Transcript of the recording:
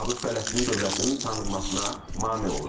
ABŞ Fələstin dövlətinin tanınmasına mane olur.